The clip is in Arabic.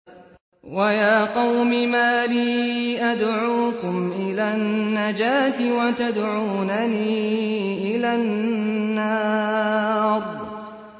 ۞ وَيَا قَوْمِ مَا لِي أَدْعُوكُمْ إِلَى النَّجَاةِ وَتَدْعُونَنِي إِلَى النَّارِ